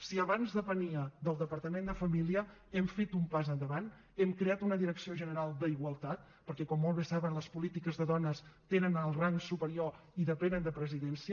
si abans depenia del departament de família hem fet un pas endavant hem creat una direcció general d’igualtat perquè com molt bé saben les polítiques de dones tenen el rang superior i depenen de presidència